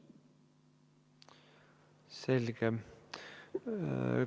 Selge.